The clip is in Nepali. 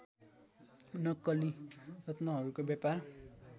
नक्कली रत्नहरूको व्यापार